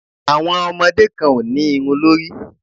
Àwọn ọmọdé kan ò ní irun lórí.